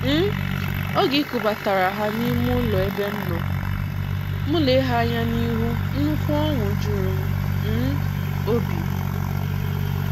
um Oge e kubatara ha n'ime ulo ebe m nọ, m lee ha anya n’ihu, nnukwu oṅụ juru m um obi.\n